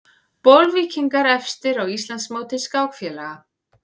Bolvíkingar efstir á Íslandsmóti skákfélaga